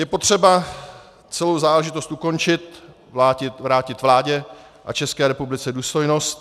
Je potřeba celou záležitost ukončit, vrátit vládě a České republice důstojnost.